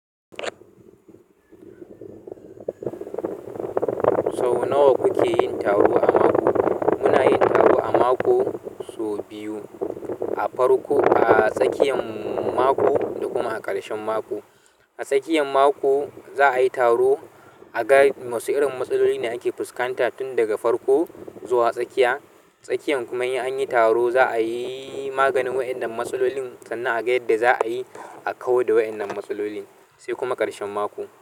Sau nawa kuke yin taro a mako sau biyu a farko a tsakiyan mako da kuma a ƙarshen mako. A tsakiyan mako za'a yi taro a ga wasu irin matsaloli ne ake fuskanta tun daga farko zuwa tsakiya. Tsakiyan kuma in an yi taro za'a yi maganin waɗannan matsalolin sannan a ga yadda za'a yi a kawar da waɗannan matsalolin, sai kuma ƙarshen mako.